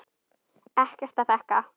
Ekkert að þakka